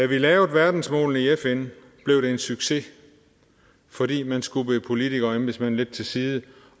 vi lavede verdensmålene i fn blev det en succes fordi man skubbede politikere og embedsmænd lidt til side